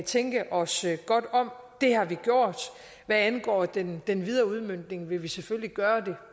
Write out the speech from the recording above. tænke os godt om det har vi gjort hvad angår den den videre udmøntning vil vi selvfølgelig gøre